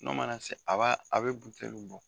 N'o mana se a b'a a bɛ bɔ.